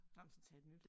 Nej men så tag et nyt